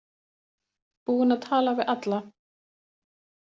Búin að tala við alla.